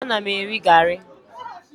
Ee, ana m eri garị